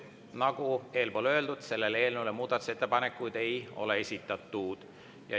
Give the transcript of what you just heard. Nagu öeldud, selle eelnõu kohta muudatusettepanekuid ei ole esitatud.